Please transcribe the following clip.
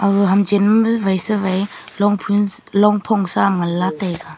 ho hamchan wai siwai longphun longphong saam nganla taiga.